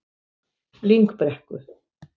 Lyngbrekku